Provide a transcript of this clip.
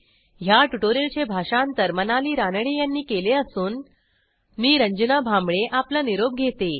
ह्या ट्युटोरियलचे भाषांतर मनाली रानडे यांनी केले असून मी रंजना भांबळे आपला निरोप घेते